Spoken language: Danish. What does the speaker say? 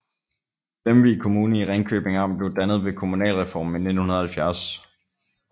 Lemvig Kommune i Ringkøbing Amt blev dannet ved kommunalreformen i 1970